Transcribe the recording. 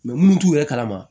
munnu t'u yɛrɛ kalama